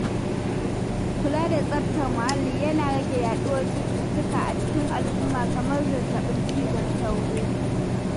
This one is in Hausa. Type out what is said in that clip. Kula da tsaftar muhalli yana rage yaɗuwar cututtuka a cikin al'umma kamar zazzaɓin cizon sauro.